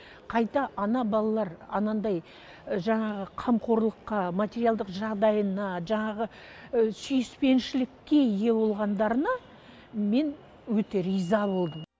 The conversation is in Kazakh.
қайта ана балалар анандай жаңағы қамқорлыққа материалдық жағыдайына жаңағы сүйіспеншілікке ие болғандарына мен өте риза болдым